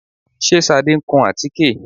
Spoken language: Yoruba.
Ṣé Ṣadé ń kun àtíkè?